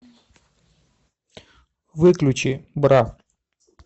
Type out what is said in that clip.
выключи бра